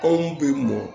Anw bɛ mɔ